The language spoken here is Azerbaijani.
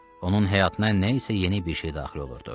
Onun həyatına nə isə yeni bir şey daxil olurdu.